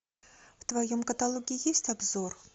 в твоем каталоге есть обзор